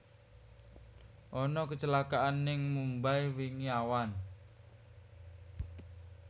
Ana kecelakaan ning Mumbai wingi awan